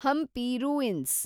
Hampi ruins